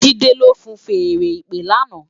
Jide ló fúùn fèèrè ìpè làná